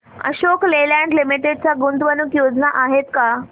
Ashok Leyland Limited च्या गुंतवणूक योजना आहेत का